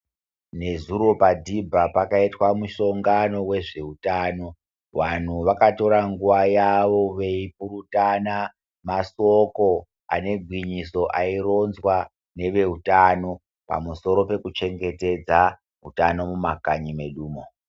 Nezuro padhibha pakaitwa musongano wezveutano. Wanhu vakatora nguwa yavo, veipurutana masoko ane gwinyiso, aironzwa neveutano ,pamusoro pekuchengetedza utano mumakanyi medumwo.